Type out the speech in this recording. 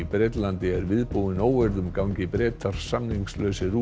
Bretlandi er viðbúin óeirðum gangi Bretar út samningslausir